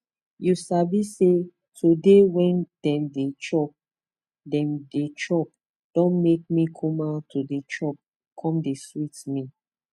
u sabi say to de wen dem d chop dem d chop don make me kuma to de chop com dey sweet me